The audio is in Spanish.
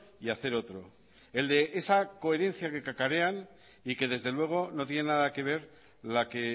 y hacer otro el de esa coherencia que cacarean y que desde luego no tiene nada que ver la que